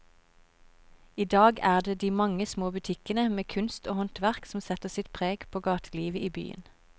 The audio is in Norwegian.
I dag er det de mange små butikkene med kunst og håndverk som setter sitt preg på gatelivet i byen.